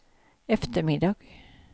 eftermiddag